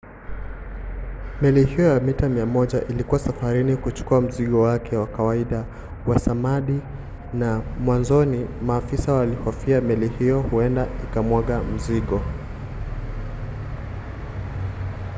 meli hiyo ya mita 100 ilikuwa safarini kuchukua mzigo wake wa kawaida wa samadi na mwanzoni maafisa walihofia meli hiyo huenda ikamwaga mzigo